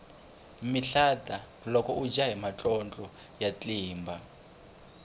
mihlata loko udya hi matlotlo ya tlimba